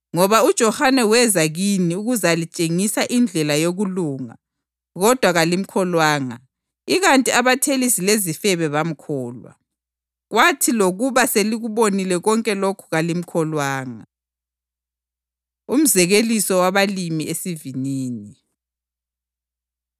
Ngoba uJohane weza kini ukuzalitshengisa indlela yokulunga kodwa kalimkholwanga ikanti abathelisi lezifebe bamkholwa. Kwathi lokuba selikubonile konke lokhu kalimkholwanga.” Umzekeliso Wabalimi Esivinini